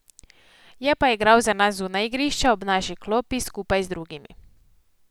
Je pa igral za nas zunaj igrišča, ob naši klopi, skupaj z drugimi.